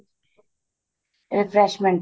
refreshment ਤੇ